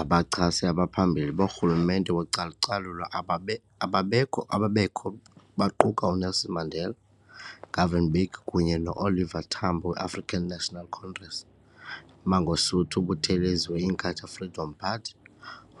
Abachasi abaphambili borhulumente wocalucalulo ababe ababekho baquka uNelson Mandela, Govan Mbeki kunye no Oliver Tambo we African National Congress, Mangosuthu Buthelezi we Inkatha Freedom Party,